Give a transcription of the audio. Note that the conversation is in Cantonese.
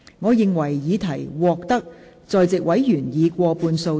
我認為議題獲得在席委員以過半數贊成。